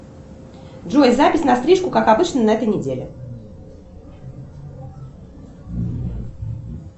джой запись на стрижку как обычно на этой неделе